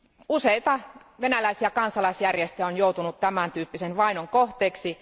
Useita venäläisiä kansalaisjärjestöjä on joutunut tämän tyyppisen vainon kohteeksi.